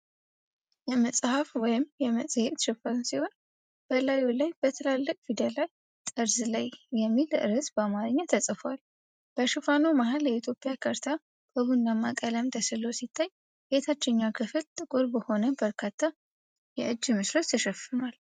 የመጽሐፍ ወይም የመጽሔት ሽፋን ሲሆን፣ በላዩ ላይ በትላልቅ ፊደላት “ጠርዝ ላይ” የሚል ርዕስ በአማርኛ ተጽፏል። በሽፋኑ መሃል የኢትዮጵያ ካርታ በቡናማ ቀለም ተሥሎ ሲታይ፣ የታችኛው ክፍል ጥቁር በሆኑ በርካታ የእጅ ምስሎች ተሸፍኗል።